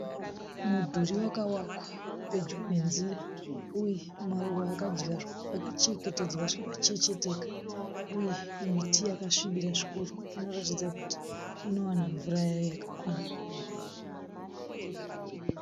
Mudhuri wakavakwa pedyo nenzira. Uye maruva akadyarwa akachengetedzwa zvakachecheteka. Uye miti yakasvibira zvikuru inoratidza kuti inowana mvura yayo yakakwana.